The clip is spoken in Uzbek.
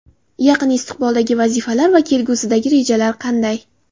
Yaqin istiqboldagi vazifalar va kelgusidagi rejalar qanday?